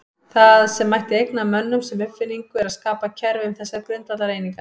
Það sem mætti þá eigna mönnum sem uppfinningu er að skapa kerfi um þessar grundvallareiningar.